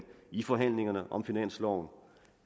i forhandlingerne om finansloven